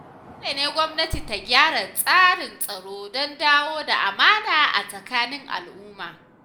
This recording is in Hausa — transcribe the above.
Dole ne gwamnati ta gyara tsarin tsaro don dawo da amana a tsakanin al’umma.